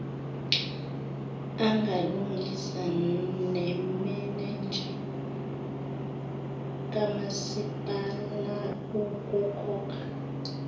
angalungisa nemenenja kamasipalaukukhokha